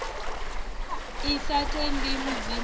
i sa tendi mudzimu u